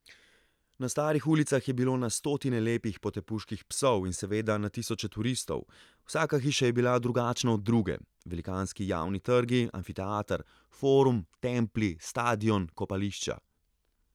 Na starih ulicah je bilo na stotine lepih potepuških psov in seveda na tisoče turistov, vsaka hiša je bila drugačna od druge, velikanski javni trgi, amfiteater, forum, templji, stadion, kopališča.